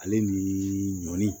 Ale niii ɲɔli